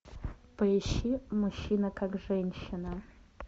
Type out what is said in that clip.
поищи мужчина как женщина